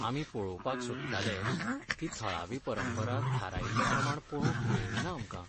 आमी पळोवपाक सोदताले ती थळावी परंपरा थारायिल्ले प्रमाण पळोवंक मेळ्ळी ना आमकां.